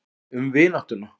Um vináttuna.